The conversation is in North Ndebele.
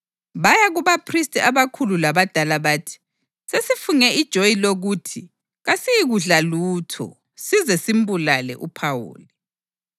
Baya kubaphristi abakhulu labadala bathi, “Sesifunge ijoyi lokuthi kasiyikudla lutho size simbulale uPhawuli.